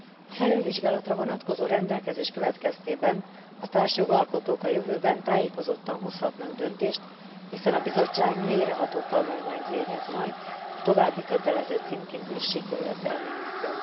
A felülvizsgálatra vonatkozó rendelkezés következtében a társjogalkotók a jövőben tájékozottan hozhatnak döntést, hiszen a Bizottság mélyreható tanulmányt végez majd a további kötelező címkézési követelményekről.